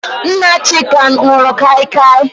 Nna Chika nụrụ kaikai.